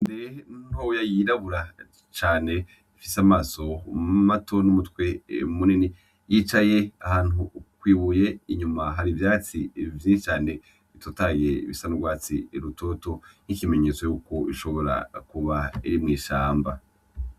Inkende ntoya yirabura cane ifise amaso mato n'umutwe munini yicaye ahantu kw'ibuye inyuma hari ivyatsi vyinshi cane bitotahaye bisa n'urwatsi rutoto nk'ikimenyetso yuko ishobora kuba iri mw'ishamba.